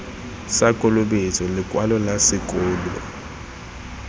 sa kolobetso lekwalo la sekolo